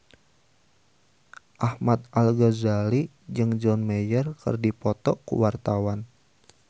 Ahmad Al-Ghazali jeung John Mayer keur dipoto ku wartawan